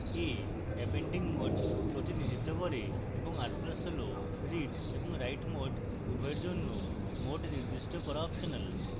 a appending mode প্রতিনিধিত্ব করে এবং r + হল read এবং write mode উভয়ের জন্য mode নির্দিষ্ট করা অপশনাল